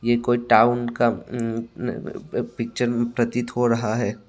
ये कोई टाउन का अं अं पिक्चर प्रतीत हो रहा है।